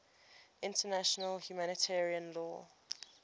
international humanitarian law